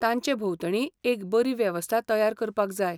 ताचें भोंवतणी एक बरी वेवस्था तयार करपाक जाय.